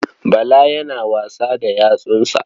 Bala yana wasa da yatsunsa.